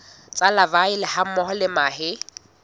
tsa larvae hammoho le mahe